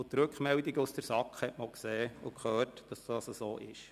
Anhand der Rückmeldungen von der SAK hat man auch gesehen und gehört, dass dies so ist.